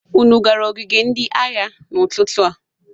Unu gara ogige ndị agha n'ụtụtụ a?